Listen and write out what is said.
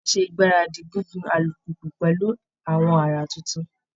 Á ṣe ìgbáradì gígun alùpùpù pẹ̀lú àwọn àrà tuntun